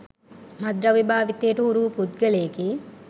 මත්ද්‍රව්‍ය භාවිතයට හුරුවූ පුද්ගලයෙකි.